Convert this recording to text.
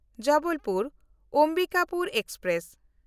Jabalpur-Ambikapur express